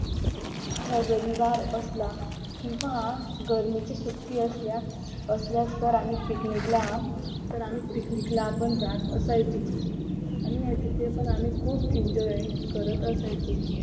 हा रविवार असला किंवा गर्मीची सुट्टी असल्या असल्या तर आम्ही पिकनिकला तर आम्ही पिकनिकला पण जात असायचो आणि तिथे पण आम्ही खूप एन्जॉय करत असायचो